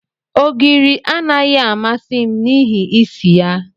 Ogiri anaghị amasị m n'ihi isi ya.